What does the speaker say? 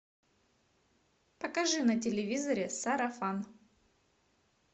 покажи на телевизоре сарафан